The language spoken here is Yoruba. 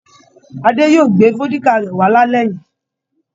Ade yóò gbé vódíkà rẹ̀ wá lálẹ́ yìí.